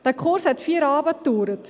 Dieser Kurs hat vier Abende gedauert.